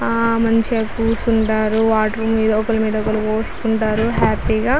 ఆ మంచిగా కూర్చుంటారు వాటర్ ని ఒకరి మీద ఒకరు పోసుకుంటారు. హ్యాపీ గా --